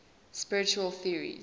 spiritual theories